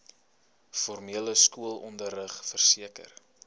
formele skoolonderrig verseker